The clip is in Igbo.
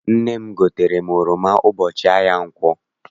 Nne m gotere oroma ụbọchị ahịa nkwọ.